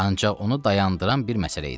Ancaq onu dayandıran bir məsələ idi.